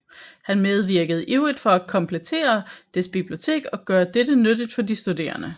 Han medvirkede ivrigt for at komplettere dets bibliotek og gøre dette nyttigt for de studerende